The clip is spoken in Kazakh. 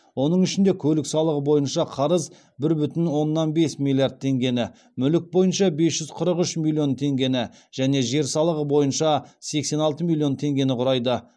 оның ішінде көлік салығы бойынша қарыз бір бүтін оннан бес миллиард теңгені мүлік бойынша бес жүз қырық үш миллион теңгені және жер салығы бойынша сексен алты миллион теңгені құрайды